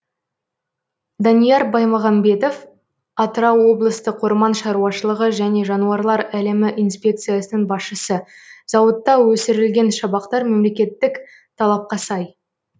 данияр баймағамбетов атырау облыстық орман шаруашылығы және жануарлар әлемі инспекциясының басшысы зауытта өсірілген шабақтар мемлекеттік талапқа сай